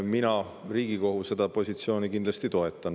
Mina Riigikogu seda positsiooni kindlasti toetan.